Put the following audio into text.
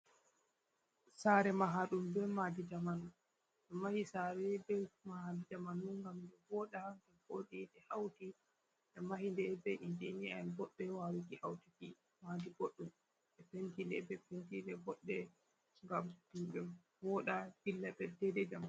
Sare mahaɗum be mahdi jamanu ɓe mahi sare be mahi jamanu ngam voɗa ngam vodi ɓe hauti be mahide be injinia'en boɗbe wawiki hautuki mahdi boɗɗum. Ɓe pentide be pentije boɗɗe ngam ɗum ɓe woɗa dilla be dai dai jamanu.